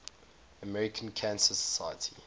american cancer society